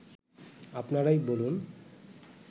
আপনারাই বলুন